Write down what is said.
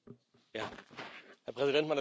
Herr Präsident, meine Damen und Herren Kollegen!